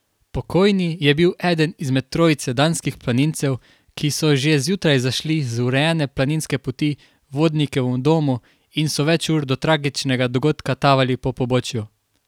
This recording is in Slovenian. Pokojni je bil eden izmed trojice danskih planincev, ki so že zjutraj zašli iz urejene planinske poti Vodnikovem domu in so več ur do tragičnega dogodka tavali po pobočju.